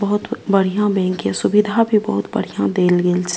बहुत बढ़िया बैंक ये सुविधा भी बहुत बढ़िया देल गेल --